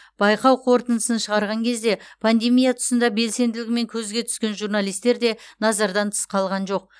байқау қорытындысын шығарған кезде пандемия тұсында белсенділігімен көзге түскен журналистер де назардан тыс қалған жоқ